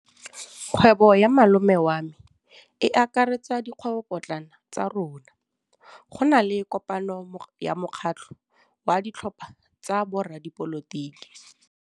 Kgwêbô ya malome wa me e akaretsa dikgwêbôpotlana tsa rona. Go na le kopanô ya mokgatlhô wa ditlhopha tsa boradipolotiki.